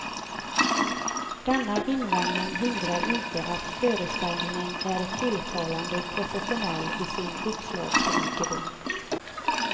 Denna invändning hindrar inte att föreställningen är tilltalande professionell i sin uppslagsrikedom.